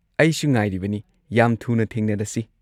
ꯑꯩꯁꯨ ꯉꯥꯏꯔꯤꯕꯅꯤ, ꯌꯥꯝ ꯊꯨꯅ ꯊꯦꯡꯅꯔꯁꯤ꯫